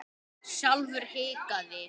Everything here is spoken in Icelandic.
Sjálfur hikaði